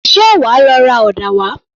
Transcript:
Ṣé wàá lọ ra ọ̀dà wá?